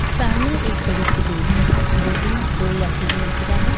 सामने एक बड़ी सी बिल्डिंग है बिल्डिंग दो या तीन मंजिला है।